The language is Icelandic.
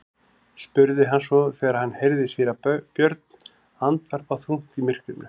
spurði hann svo þegar hann heyrði síra Björn andvarpa þungt í myrkrinu.